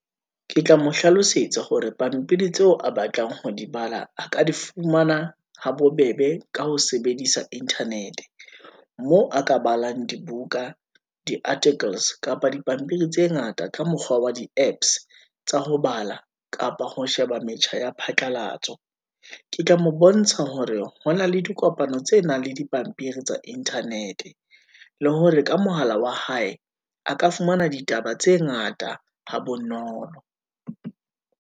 Ke tla mo hlalosetsa hore pampiri tseo a batlang ho di bala, a ka di fumana habobebe ka ho sebedisa Internet-e, moo a ka balang dibuka, di-artickles kapa dipampiri tse ngata, ka mokgwa wa di apps tsa ho bala, kapa ho sheba metjha ya phatlalatso. Ke tla mo bontsha hore hona le dikopano tse nang le dipampiri tsa Internet-e, le hore ka mohala wa hae, a ka fumana ditaba tse ngata ha bonolo.